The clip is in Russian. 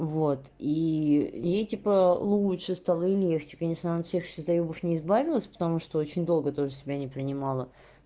вот и и ей типа получше стало и легче конечно она всех ещё заёбов не избавилась потому что очень долго тоже себя не принимала